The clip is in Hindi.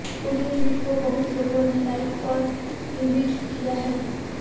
उनके ट्वीट को बहुत लोगों ने लाइक और रीट्वीट किया है